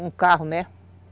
Um carro, né?